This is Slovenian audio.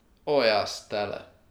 O, jaz, tele!